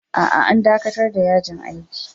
A'a, an dakatar da yajin aikin